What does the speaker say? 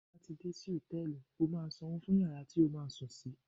Tí o bá lò sí Hòtẹ́lìì, o máa sanwó fún iyàrá tí o máa sùn sí